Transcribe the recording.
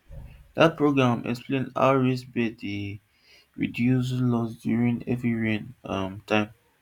dat programme explain how raised beds dey reduce losses during heavy rain um time